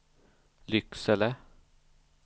Lycksele